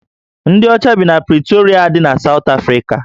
Ndị ọcha bi na Pritorịa dị na Sawt Afrika